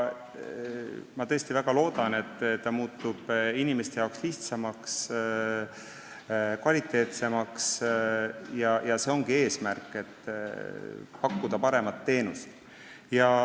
Ma tõesti väga loodan, et see muutub inimeste jaoks lihtsamaks ja kvaliteetsemaks, sest eesmärk ongi pakkuda paremat teenust.